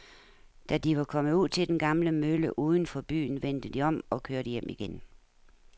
Da de var kommet ud til den gamle mølle uden for byen, vendte de om og kørte hjem igen.